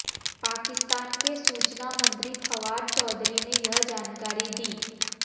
पाकिस्तान के सूचना मंत्री फवाद चौधरी ने यह जानकारी दी